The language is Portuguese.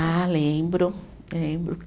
Ah, lembro, lembro.